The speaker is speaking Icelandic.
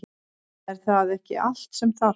Er það ekki allt sem þarf?